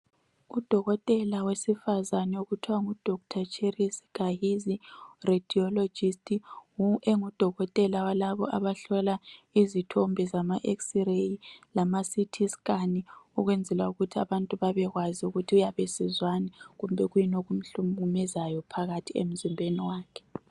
Udokotela wesifazane, okuthiwa nguDr Cherise Gahizi. Radiologist. Engudokotela walabo abahlola izithombe zama x-ray, lamaCity scan. Ukwenzela ukuthi abuntu babekwazi ukuthi uyabe esizwani. Lokuthi kuyini okumhlukumezayo, phakathi emzimbeni wakhe.